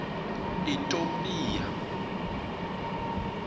itopia